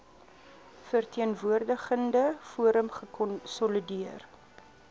verteenwoordigende forum gekonsolideer